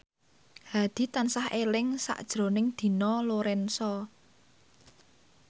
Hadi tansah eling sakjroning Dina Lorenza